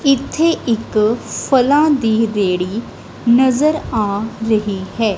ਇੱਥੇ ਇੱਕ ਫਲਾਂ ਦੀ ਰੇਹੜੀ ਨਜ਼ਰ ਆ ਰਹੀ ਹੈ।